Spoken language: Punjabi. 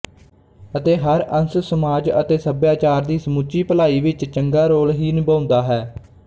ਅਤੇ ਹਰ ਅੰਸ ਸਮਾਜ ਅਤੇ ਸਭਿਆਚਾਰ ਦੀ ਸਮੁੱਚੀ ਭਲਾਈ ਵਿੱਚ ਚੰਗਾ ਰੋਲ ਹੀ ਨਿਭਾਉਂਦਾ ਹੈ